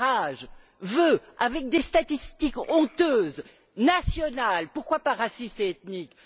Farage veut, avec des statistiques honteuses, nationales pourquoi pas racistes et ethniques?